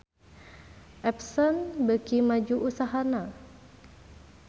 Epson beuki maju usahana